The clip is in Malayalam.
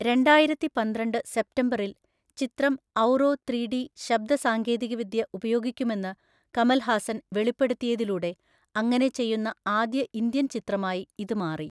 രണ്ടായിരത്തിപന്ത്രണ്ട് സെപ്റ്റംബറിൽ, ചിത്രം ഔറോ ത്രീ ഡി ശബ്ദ സാങ്കേതികവിദ്യ ഉപയോഗിക്കുമെന്ന് കമൽ ഹാസൻ വെളിപ്പെടുത്തിയതിലൂടെ അങ്ങനെ ചെയ്യുന്ന ആദ്യ ഇന്ത്യൻ ചിത്രമായി ഇത് മാറി.